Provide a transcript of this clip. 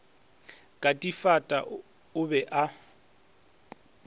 ka difata o be a